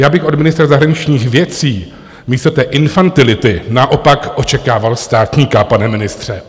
Já bych od ministra zahraničních věcí místo té infantility naopak očekával státníka, pane ministře.